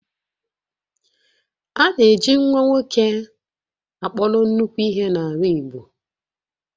A na-eji nwa nwoke akpọrọ nnukwu ihe n'ala Igbo